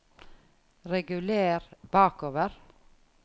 reguler bakover